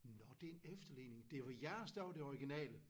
Nåh det er en efterligning det var jeres der var det originale